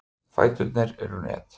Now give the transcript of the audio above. Fæturnir eru net.